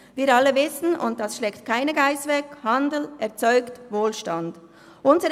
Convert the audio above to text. Wir alle wissen – das schleckt keine Geiss weg –, dass Handel Wohlstand erzeugt.